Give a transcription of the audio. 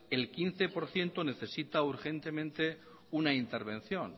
el quince por ciento necesita urgentemente una intervención